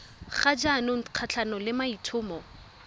ga jaanong kgatlhanong le maitlhomo